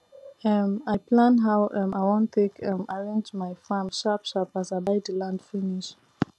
um i plan how um i wan take um arrange my farm sharp sharp as i buy the land finish